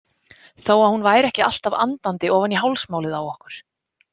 Þó að hún væri ekki alltaf andandi ofan í hálsmálið á okkur.